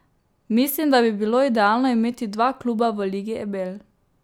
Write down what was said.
Mislim, da bi bilo idealno imeti dva kluba v Ligi Ebel.